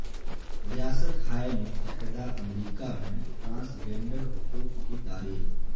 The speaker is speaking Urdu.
ریاست ہائے متحدہ امریکہ میں ٹرانسگینڈر حقوق کی تاریخ